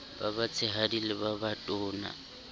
ba batshehadi le ba batona